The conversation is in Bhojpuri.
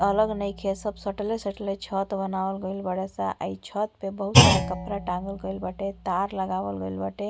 अलग नइखे। सब सटले सटले छत बनावल गइल बाड़े स आ इ छत पे बहुत सारा कपड़ा टाँगल गइल बाटे। तार लगावल गइल बाटे।